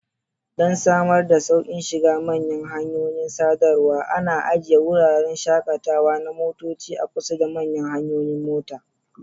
Don samar da sauƙin shiga manyan hanyoyin sadarwa, ana ajiye wuraren shakatawa na motoci a kusa da manyan hanyoyin mota.